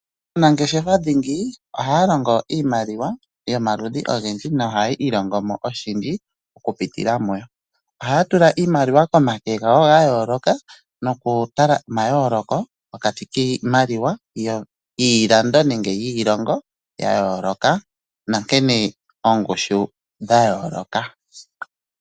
Aanangeshefa dhingi ohaya longo iimaliwa yomaludhi ogendji nohaya ilongo mo oshindji okupitila muyo. Ohaya tula iimaliwa komake gawo ga yooloka nokutala omayooloko pokati kiimaliwa yiilongo ya yooloka nankene oongushu dha yooloka.